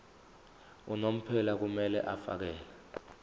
unomphela kumele afakele